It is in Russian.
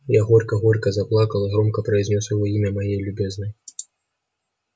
я горько горько заплакал и громко произнёс его имя моей любезной